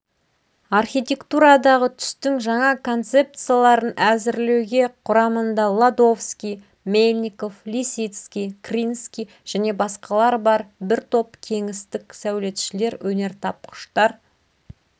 архитектурадағы түстің жаңа концепцияларын әзірлеуге құрамында ладовский мельников лисицкий кринский және басқалар бар бір топ кеңістік сәулетшілер өнертапқыштар